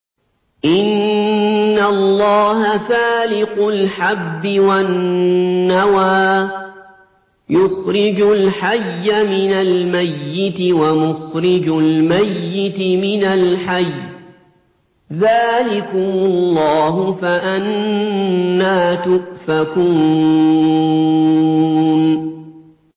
۞ إِنَّ اللَّهَ فَالِقُ الْحَبِّ وَالنَّوَىٰ ۖ يُخْرِجُ الْحَيَّ مِنَ الْمَيِّتِ وَمُخْرِجُ الْمَيِّتِ مِنَ الْحَيِّ ۚ ذَٰلِكُمُ اللَّهُ ۖ فَأَنَّىٰ تُؤْفَكُونَ